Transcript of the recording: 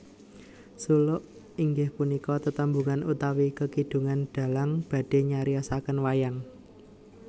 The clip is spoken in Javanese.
Suluk inggih punika tetembungan utawi kekidungan dhalang badhe nyariosaken wayang